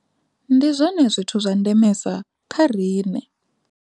Ndi zwone zwithu zwa ndemesa kha riṋe.